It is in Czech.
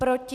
Proti?